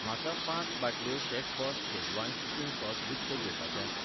म्हाका पांच बाटल्यो शेफबॉस शेझवान कुकिंग सॉस विकतें घेवपाचे आसा